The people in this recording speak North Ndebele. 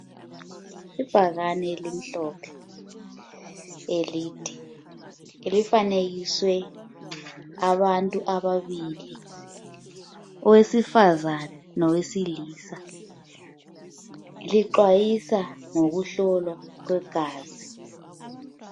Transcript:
Ibhakani elimhlophe elide. Elifanekiswe abantu ababili owesifazana lowesilisa lixwayisa ngokuhlolwa kwegazi.